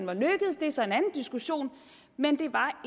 er så en anden diskussion men det var